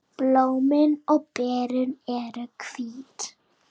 Blómin og berin eru hvít.